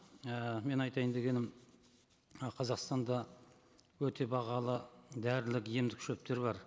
і мен айтайын дегенім і қазақстанда өте бағалы дәрілік емдік шөптер бар